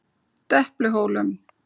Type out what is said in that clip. Depluhólum